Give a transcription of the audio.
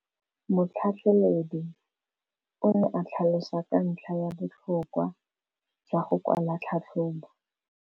Motlhatlheledi o ne a tlhalosa ka ntlha ya botlhokwa jwa go kwala tlhatlhôbô.